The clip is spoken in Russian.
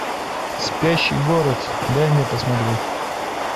спящий город дай мне посмотреть